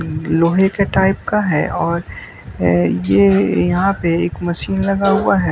लोहे के टाइप का है और ये यहां पे एक मशीन लगा हुआ है।